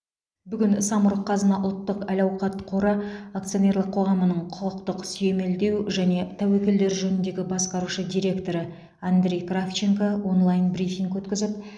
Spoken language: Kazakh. бүгін самұрық қазына ұлтттық әл ауқат қоры акционерлік қоғамының құқықтық сүйемелдеу және тәуекелдер жөніндегі басқарушы директоры андрей кравченко онлайн брифинг өткізіп